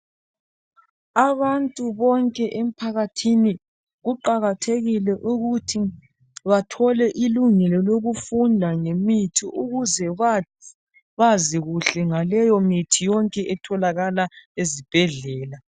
Abantu bonke emphakathini kuqakathekile ukuthi bathole ilungelo lokufunda ngemithi ukuze bazi kuhle ngaleyo mithi etholakala ezibhedlela.